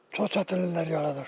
Çox çətinliklər yaradır.